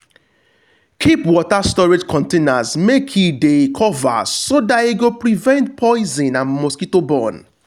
keep water storage containers make e de covered so that e go prevent poison and mosquito born.